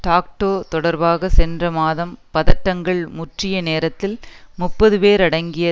tac toe தொடர்பாக சென்ற மாதம் பதட்டங்கள் முற்றிய நேரத்தில் முப்பது பேர் அடங்கிய